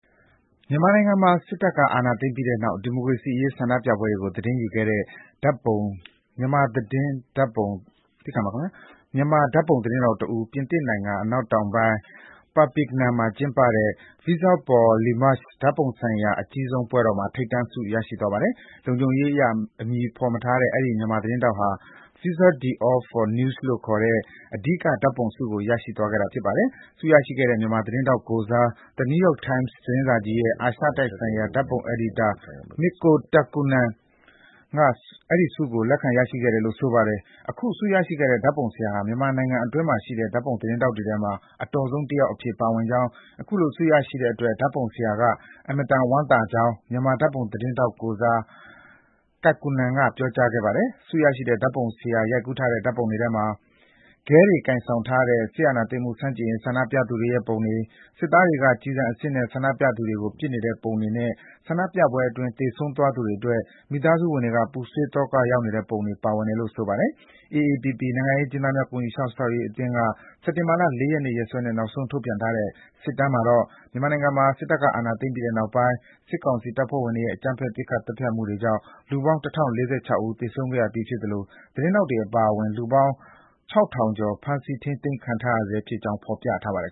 မြန်မာနိုင်ငံမှာ စစ်တပ်က အာဏာသိမ်းပြီးတဲ့နောက် ဒီမိုကရေစီအရေး ဆန္ဒပြပွဲတွေကို သတင်းယူခဲ့တဲ့ မြန်မာ ဓာတ်ပုံသတင်းထောက်တဦး ပြင်သစ်နိုင်ငံ အနောက်တောင်ပိုင်း Perpignan မှာကျင်းပတဲ့ "Visa Pour L'Image" ဓာတ်ပုံဆိုင်ရာ အကြီးဆုံးပွဲတော်မှာ ထိပ်တန်းဆုကို ရရှိသွားပါတယ်။ လုံခြုံရေးအရ အမည်မဖော်ပြထားတဲ့ အဲဒီ မြန်မာသတင်းထောက်ဟာ Visa d'Or for News လို့ခေါ်တဲ့ အဓိကဓာတ်ပုံဆုကို ရရှိသွားခဲ့တာ ဖြစ်ပါတယ်။ ဆုရရှိတဲ့ မြန်မာသတင်းထောက်ကိုယ်စား The New York Times သတင်းစာကြီးရဲ့ အာရှတိုက်ဆိုင်ရာ ဓာတ်ပုံအယ်ဒီတာ Mikko Takkunen က အဲဒီဆုကို လက်ခံရယူခဲ့တယ်လို့ ဆိုပါတယ်။ အခုဆုရရှိတဲ့ ဓာတ်ပုံဆရာဟာ မြန်မာနိုင်ငံအတွင်းမှာရှိတဲ့ ဓာတ်ပုံသတင်းထောက်တွေထဲမှာ အတော်ဆုံးတယောက်အဖြစ် ပါဝင်ကြောင်း၊ အခုလို ဆုရရှိတဲ့အတွက် ဓာတ်ပုံဆရာက အင်မတန် ဝမ်းသာကြောင်း မြန်မာ ဓာတ်ပုံသတင်းထောက်ကိုယ်စား Takkunen က ပြောကြားခဲ့ပါတယ်။ ဆုရရှိတဲ့ ဓာတ်ပုံဆရာ ရိုက်ကူးထားတဲ့ ပုံတွေထဲမှာ ခဲတွေကိုင်ဆောင်ထားတဲ့ စစ်အာဏာသိမ်းမှု ဆန့်ကျင်ရေး ဆန္ဒပြသူတွေ၊ စစ်သားတွေက ကျည်ဆန်အစစ်နဲ့ ဆန္ဒပြသူတွေကို ပစ်နေတဲ့ပုံတွေနဲ့ ဆန္ဒပြပွဲတွေအတွင်း သေဆုံးသွားသူတွေအတွက် မိသားစုဝင်တွေက ပူဆွေးသောက ရောက်နေတဲ့ပုံတွေ ပါဝင်တယ်လို့ ဆိုပါတယ်။ AAPP-B နိုင်ငံရေးအကျဉ်းသားများ ကူညီစောင့်ရှောက်ရေးအသင်းက စက်တင်ဘာ ၄ ရက်နေ့ ရက်စွဲနဲ့ နောက်ဆုံးထုတ်ပြန်ထားတဲ့ စစ်တမ်းမှာတော့ မြန်မာနိုင်ငံမှာ စစ်တပ်က အာဏာသိမ်းပြီးတဲ့နောက်ပိုင်း စစ်ကောင်စီတပ်ဖွဲ့ဝင်တွေရဲ့ အကြမ်းဖက် ပစ်ခတ်သတ်ဖြတ်မှုတွေကြောင့် လူပေါင်း ၁,၀၄၆ ဦး သေဆုံးခဲ့ရပြီးဖြစ်သလို သတင်းထောက်တွေ အပါအဝင် လူပေါင်း ၆,၂၃၀ ဦး ဖမ်းဆီး ထိန်းသိမ်းခံထားရဆဲဖြစ်ကြောင်း ဖော်ပြထားပါတယ်